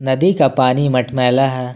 नदी का पानी मटमैला है।